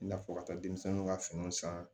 I n'a fɔ ka taa denmisɛnninw ka finiw san